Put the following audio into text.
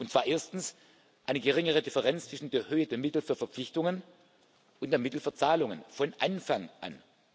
Und zwar Erstens Eine geringere Differenz zwischen der Höhe der Mittel für Verpflichtungen und der Mittel für Zahlungen, von Anfang